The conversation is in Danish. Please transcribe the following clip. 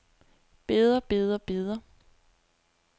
beder beder beder